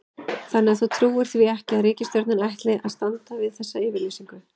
Þannig að þú trúir því ekki að ríkisstjórnin ætli að standa við þessa yfirlýsingu?